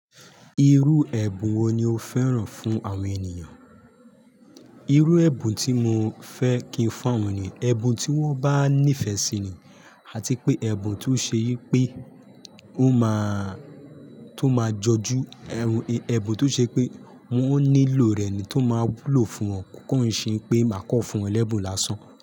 Irú ẹ̀bùn wo ni o fẹ́ràn fún àwọn ènìyàn? Irú ẹ̀bùn tí mo fẹ́ kí n fún awọn eniyan ẹ̀bùn tí wọ́n bá nífẹ̀ẹ́ sí ni, àti pé ẹ̀bùn tó ṣe pé ó máa tó máa jọjú ẹ̀bùn tó ṣe pé wọ́n ó nílò rẹ̀ ni tó máa wúlò fún wọn kó ṣe pé máa kọ fún wọn ẹ̀bùn lásán.